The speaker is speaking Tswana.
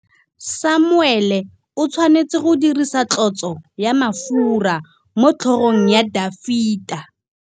Samuele o tshwanetse go dirisa tlotsô ya mafura motlhôgong ya Dafita.